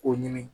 K'o ɲini